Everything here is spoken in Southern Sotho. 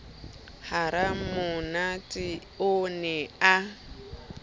ha ramonate o ne a